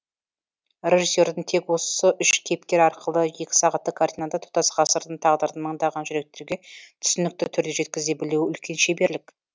режиссердің тек осы үш кейіпкер арқылы екі сағаттық картинада тұтас ғасырдың тағдырын мыңдаған жүректерге түсінікті түрде жеткізе білуі үлкен шеберлік